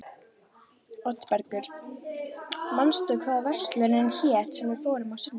Oddbergur, manstu hvað verslunin hét sem við fórum í á sunnudaginn?